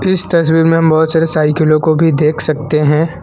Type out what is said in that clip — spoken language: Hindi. इस तस्वीर में हम बहुत सारे साइकिलों को भी देख सकते हैं।